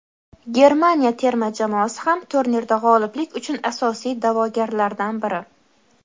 Germaniya terma jamoasi ham turnirda g‘oliblik uchun asosiy da’vogarlardan biri.